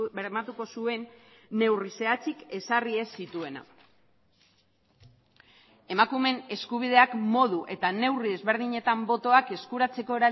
bermatuko zuen neurri zehatzik ezarri ez zituena emakumeen eskubideak modu eta neurri ezberdinetan botoak eskuratzeko